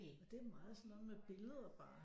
Og det er meget sådan noget med billeder bare